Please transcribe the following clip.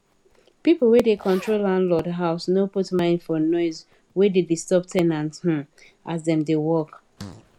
pipu wey da control landlord house no put mind for noise we da disturb ten ant um as dem da work